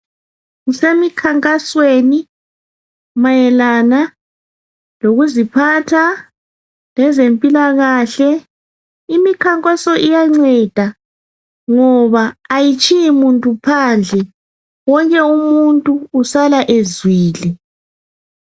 Kusemi khankasweni mayelana lokuziphatha lezempilakahle, imikhankaso iyanceda ngoba kayitshiyi muntu phandle wonke umuntu usala ezwile.